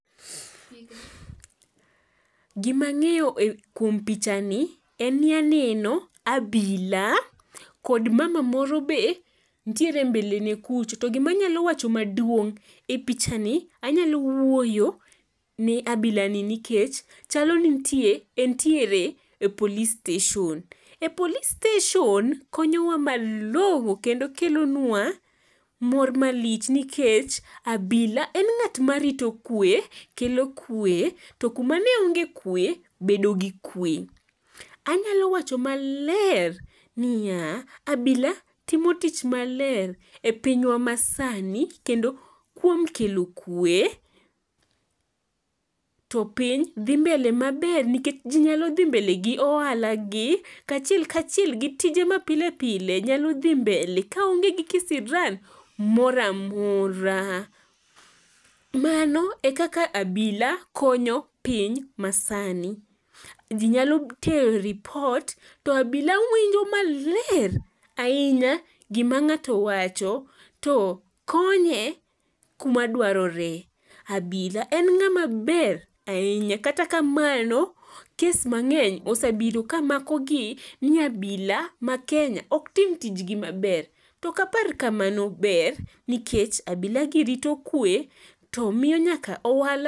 Gima ang'eyo kuom pichani en ni aneno abila kod mama moro be, ntiere mbele ne kucha, to gimanyalo wacho maduong' e pichani anyalo wuoyo ne abilani nikech chalo ni entiere e police station,e police station konyowa malong'o kendo kelonwa mor malich nikech abila en ng'at marito kwe, kelo kwe to kuma ne onge gi kwe bedo gi kwe. Anyalo wacho maler, niya abila timo tich maler e pinywa masani kendo kuom kelo kwe, to piny dhi mbele maber nikech ji nyalo dhi mbele gi ohalagi kaachiel kachiel gi tije mapile pile nyalo dhi mbele kaonge gi kisiran mora mora. Mano ekaka abila konyo piny masani. Ji nyalo tero ropit to abila winjo maler ahinya gima ng'ato wacho to konye kuma dwarore. abila en ng'ama ber ahinya, kata kamano, kes mang'eny osebedo kamakogi ni abila ma Kenya ok tim tijgi maber to ok apar kamano ber nikech abilagi rito kwe to miyo nyaka ohala.